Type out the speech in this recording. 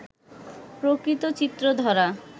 প্রকৃত চিত্র ধরা